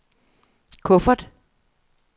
kuffert